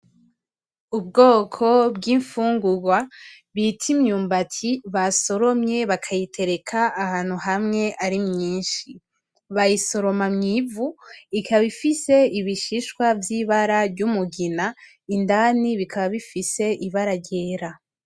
Ubwoko bw’infungurwa bita imyumbati basoromye bakayitereka ahantu hamwe ari myinshi , bayisoroma mw'ivu ikaba ifise ibishishwa vyibara ry'umugina indani bikaba bifise ibara ryera.